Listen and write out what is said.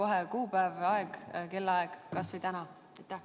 Ütle kohe kuupäev ja ellaaeg, kas või täna!